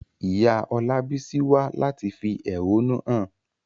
Ìyá Olabisi wá láti fi ẹ̀hónú hàn.